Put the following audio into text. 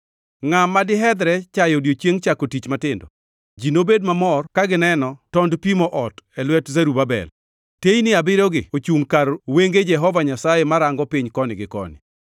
“Ngʼa madihedhre chayo odiechieng chako gik matindo? Ji nobed mamor ka gineno tond pimo ot e lwet Zerubabel. “Teyni abiriyogi ochungʼ kar wenge Jehova Nyasaye marango piny koni gi koni.”